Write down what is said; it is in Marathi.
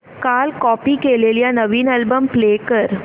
काल कॉपी केलेला नवीन अल्बम प्ले कर